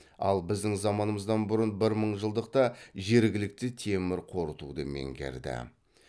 ал біздің заманымыздан бұрынғы бір мыңжылдықта жергілікті темір қорытуды меңгерді